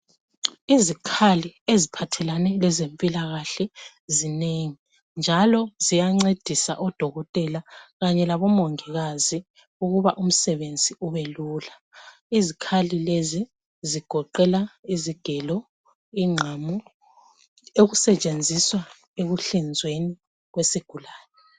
Izikhali eziphathelane lezempilakahle zinengi njalo ziyancedisa odokotela kanye labomongikazi ukuba umsebenzi ubelula izikhali lezi zigoqela izigelo, inqamu okusetshenziswa ekuhlizweni kwesigulani.